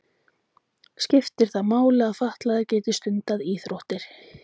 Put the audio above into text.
Skiptir það máli að fatlaðir geti stundað íþróttir?